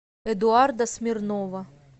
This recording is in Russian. эдуарда смирнова